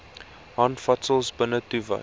handvatsels binnetoe wys